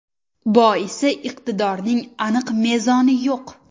Boisi iqtidorning aniq mezoni yo‘q.